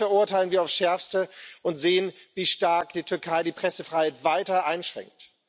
Auch das verurteilen wir aufs Schärfste und sehen, wie stark die Türkei die Pressefreiheit weiter einschränkt.